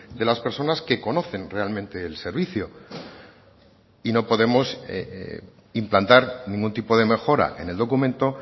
de las personas que conocen realmente el servicio y no podemos implantar ningún tipo de mejora en el documento